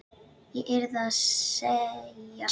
Ég yrði að segja satt.